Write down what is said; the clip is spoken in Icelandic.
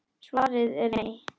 Svarið var nei.